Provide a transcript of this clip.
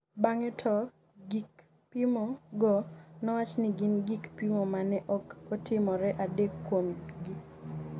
bang'e to gik pimo go nowach ni gin gik pimo mane ok otimore, adek kuom gi